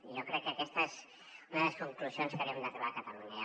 i jo crec que aquesta és una de les conclusions a què hauríem d’arribar a catalunya